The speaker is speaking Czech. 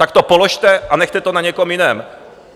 Tak to položte a nechte to na někom jiném.